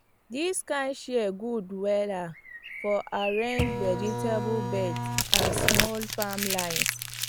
this kind shear good wella for arrange vegetable beds and small farm lines